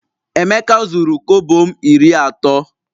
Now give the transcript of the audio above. Emeka zuru kobo m iri ato